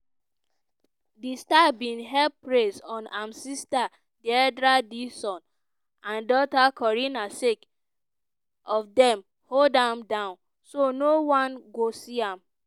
di star bin heap praise on im sister deidra dixon and daughter corinne sake of dem "hold am down" so no-one go see am.